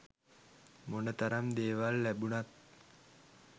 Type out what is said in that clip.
මොනතරම් දේවල් ලැබුනත්